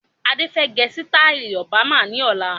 Adé fẹ gẹ sitai Obama ni ọ̀la.